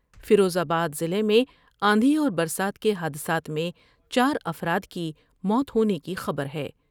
فیروز آباد ضلع میں آندھی اور برسات کے حادثات میں چارافراد کی موت ہونے کی خبر ہے ۔